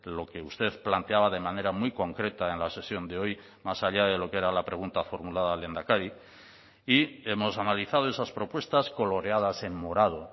lo que usted planteaba de manera muy concreta en la sesión de hoy más allá de lo que era la pregunta formulada al lehendakari y hemos analizado esas propuestas coloreadas en morado